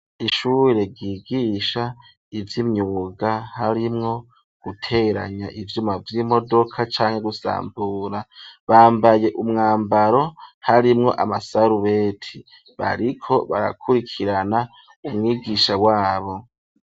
Ishure ryigisha ivy'imyuga harimwo guteranya ivyuma vy'imodoka canke gusambura, bambaye umwambaro harimwo amasarubeti, bariko barakurikirana umwigisha wabo.